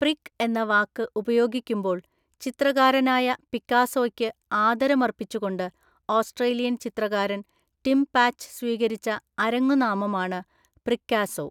Prick എന്ന വാക്ക് ഉപയോഗിക്കുമ്പോൾ ചിത്രകാരനായ പിക്കാസോയ്ക്ക് ആദരമര്‍പ്പിച്ചുകൊണ്ട്‌ ഓസ്‌ട്രേലിയൻ ചിത്രകാരൻ ടിം പാച്ച് സ്വീകരിച്ച അരങ്ങുനാമമാണ് പ്രിക്കാസോ, .